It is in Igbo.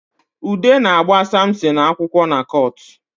Ude na-agba Samson akwụkwọ na kọọtụ